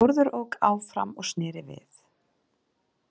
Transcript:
Þórður ók áfram og sneri við.